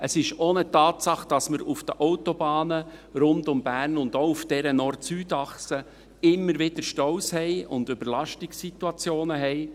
Es ist auch eine Tatsache, dass wir auf den Autobahnen rund um Bern und auch auf dieser Nord-Süd-Achse immer wieder Staus und Überlastungssituationen haben.